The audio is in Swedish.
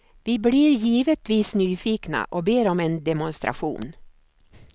Vi blir givetvis nyfikna och ber om en demonstration.